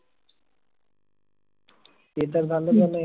ते तर झालंच झालंय